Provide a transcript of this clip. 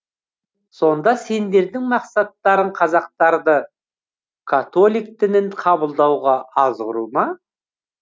сонда сендердің мақсаттарың қазақтарды католик дінін қабылдауға азғыру ма